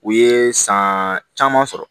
U ye san caman sɔrɔ